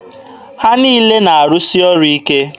Ha niile na-arụsị ọrụ ike.